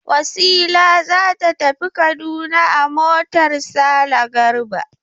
Wasila za ta tafi Kaduna a motar Sale Garba.